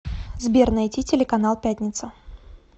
сбер найти телеканал пятница